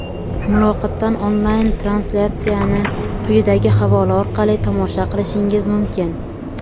Muloqotdan onlayn translyatsiyani quyidagi havola orqali tomosha qilishingiz mumkin:.